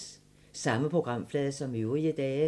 Samme programflade som øvrige dage